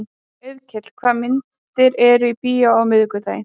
Auðkell, hvaða myndir eru í bíó á miðvikudaginn?